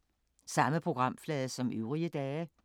Samme programflade som øvrige dage